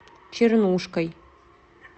чернушкой